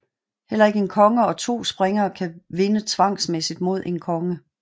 Heller ikke en konge og to springere kan vinde tvangsmæssigt mod en konge